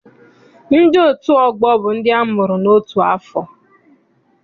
Ndị otu ọgbọ bụ ndị amụrụ n'otu afọ.